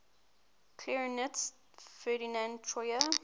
clarinetist ferdinand troyer